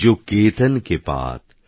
জোকেতনকেপাত